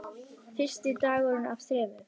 Fyrsti dagur af þremur.